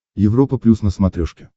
европа плюс на смотрешке